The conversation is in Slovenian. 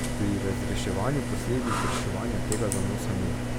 Pri razreševanju posledic reševanja tega zanosa ni.